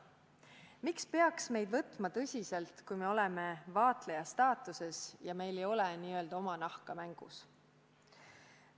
Miks peaks teised võtma meid tõsiselt, kui oleme vaatleja staatuses ja meil ei ole oma nahka mängus?